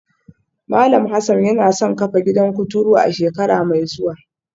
Malam Hassan yana son kafa gidan kuturu a shekara mai zuwa